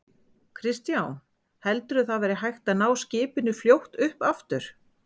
Kristján: Heldurðu að það verði hægt að ná skipinu fljótt upp aftur?